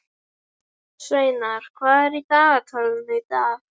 Sveinar, hvað er í dagatalinu í dag?